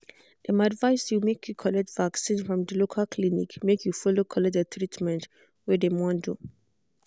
dem advised you make you collect vaccin from de local clinic make you follow collect de treatmet wey dem want do.